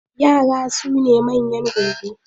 Yara sune manyan gobe.